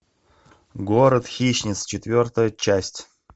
город хищниц четвертая часть